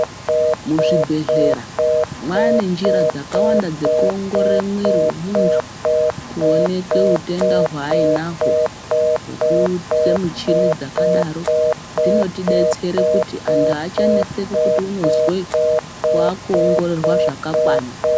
Muzvibhehlera mwane njira dzakawanda maningi dzekuongorore mwiri wemuntu kuoneke utenda hwainahwo ngekuite muchini dzakadaro dzinotidetsere kuti antu achaneseki kuti unozwei wakuongororwa zvakakwana.